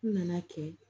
N nana kɛ